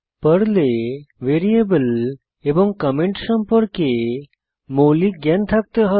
পর্লে ভ্যারিয়েবল এবং কমেন্ট সম্পর্কে মৌলিক জ্ঞান থাকতে হবে